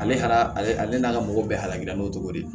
Ale hala ale ale n'a ka mɔgɔ bɛɛ halaki n'o tɔgɔ di